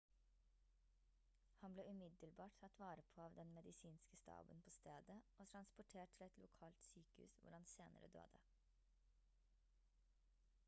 han ble umiddelbart tatt vare på av den medisinske staben på stedet og transportert til et lokalt sykehus hvor han senere døde